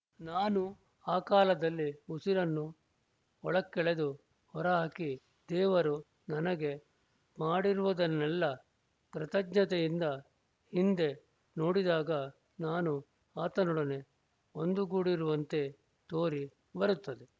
ನಾನು ಆ ಕಾಲದಲ್ಲಿ ಉಸಿರನ್ನು ಒಳಕ್ಕೆಳೆದು ಹೊರಹಾಕಿ ದೇವರು ನನಗೆ ಮಾಡಿರುವುದನ್ನೆಲ್ಲ ಕೃತಜ್ಞತೆಯಿಂದ ಹಿಂದೆ ನೋಡಿದಾಗ ನಾನು ಆತನೊಡನೆ ಒಂದುಗೂಡಿರುವಂತೆ ತೋರಿ ಬರುತ್ತದೆ